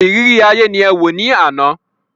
Ìrírí ayé ni ẹ wò ní àná.